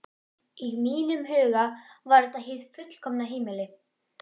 Í mínum huga var þetta hið fullkomna heimili.